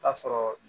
Ta sɔrɔ